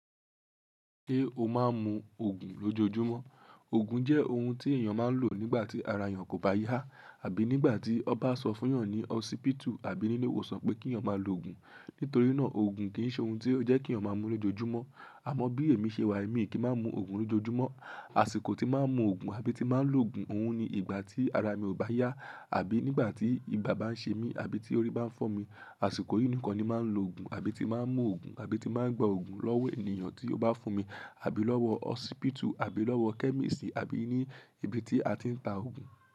Ṣé o máa ń mu Ògùn lójoojúmọ́? Ògùn jẹ́ ohun tí èèyàn máa ń lò nígbà tí ara èèyàn kò bá yá, àbí nígbà tí won ba sọ fún èèyàn ní hósipítù, àbí nílé ìwòsàn pé kí èèyàn máa lo ògùn. Nítorí náà, ògùn kì í ṣe ohun tí ó jẹ́ kí èèyàn máa ń mu lójoojúmọ́. Àmọ́ bí èmi ṣe wà, èmi kì í máa ń mu ògùn lójoojúmọ́. Àsìkò tí màá ń mu ògùn àbí tí màá ń lo ògùn, òun ni ìgbà tí ara mi ò bá yá, àbí nígbà tí ibà bá ń ṣe mí, àbí tí orí bá ń fọ́ mi. Àsìkò yìí nìkan ni màá ń lo ògùn, àbí tí màá ń mu ògùn, àbí tí màá ń gba ògùn lọ́wọ́ ènìyàn tí ó bá fún mi, àbí lọ́wọ́ hósipítù, àbí lọ́wọ́ chemist, àbí ní ibi tí a ti ń ta ògùn.